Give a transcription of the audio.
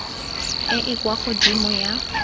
e e kwa godimo ya